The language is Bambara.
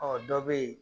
Ɔ dɔ bɛ yen